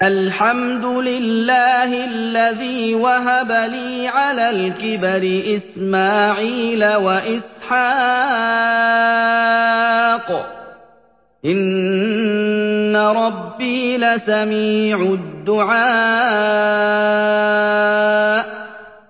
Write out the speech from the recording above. الْحَمْدُ لِلَّهِ الَّذِي وَهَبَ لِي عَلَى الْكِبَرِ إِسْمَاعِيلَ وَإِسْحَاقَ ۚ إِنَّ رَبِّي لَسَمِيعُ الدُّعَاءِ